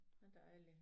Hvor dejligt